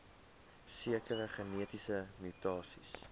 sekere genetiese mutasies